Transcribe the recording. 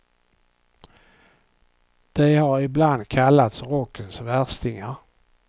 De har ibland kallats rockens värstingar.